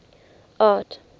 art